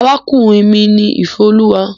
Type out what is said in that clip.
Arákùnrin mi ni Ìféolúwa.